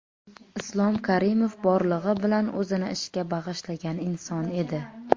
Islom Karimov borlig‘i bilan o‘zini ishga bag‘ishlagan inson edi.